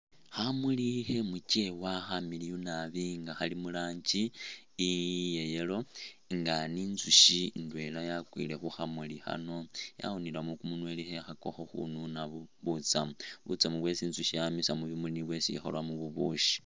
Khamuli khemukyewa nga khamiliyu naabi nga Khali murangi iya'yellow nga nintsushi indwela yakwile khukhamuli Khano, yawunilemo kumunywa khekhakakho khununamo butsamu, butsamu bwesi intsushi yamisa mubimuli nimwo mwesikhulamo bubushii